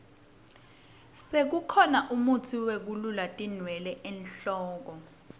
sekukhona mutsi wekulula tinwele enhloko